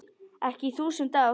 Ekki í þúsund ár.